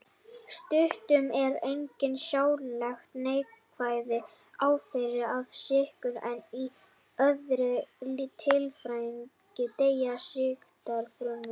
Stundum eru engar sjáanlegar neikvæðar afleiðingar af sýkingu en í öðrum tilvikum deyja sýktar frumur.